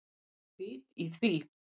Er vit í því?